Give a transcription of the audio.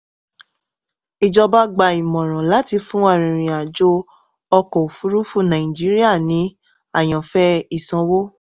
ìjọba gba ìmọ̀ràn láti fún arìnrìn-àjò ọkọ̀ òfuurufú nàìjíríà ní àyànfẹ́ ìsanwó.